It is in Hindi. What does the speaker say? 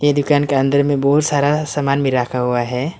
ये दुकान के अंदर में बहुत सारा सामान भी रखा हुआ है।